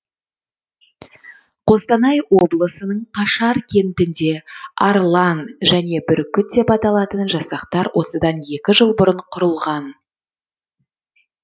қостанай облысының қашар кентінде арлан және бүркіт деп аталатын жасақтар осыдан екі жыл бұрын құрылған